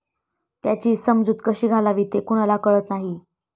त्याची समजूत कशी घालावी ते कुणाला कळत नाही.